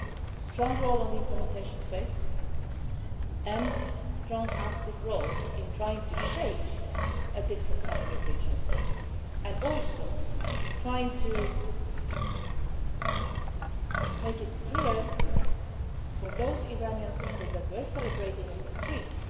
A strong role on the implementation face and a strong, active role in trying to shape a different kind of regional framework, and also in trying to make it clear for the Iranian people who were celebrating in the streets